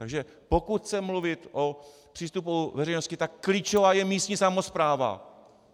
Takže pokud chce mluvit o přístupu veřejnosti, tak klíčová je místní samospráva.